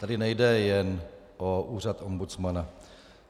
Tady nejde jen o úřad ombudsmana.